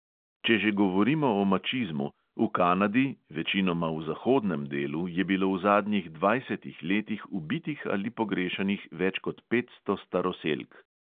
Če že govorimo o mačizmu – v kanadi, večinoma v zahodnem delu, je bilo v zadnjih dvajsetih letih ubitih ali pogrešanih več kot petsto staroselk.